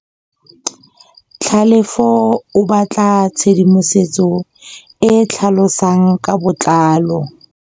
Tlhalefô o batla tshedimosetsô e e tlhalosang ka botlalô.